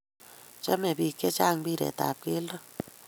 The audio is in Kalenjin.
chame pik che chang mpiret ab keldo